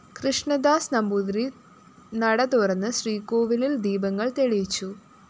കൃഷ്ണദാസ് നമ്പൂതിരി നടതുറന്ന് ശ്രീകോവിലില്‍ ദീപങ്ങള്‍ തെളിയിച്ചു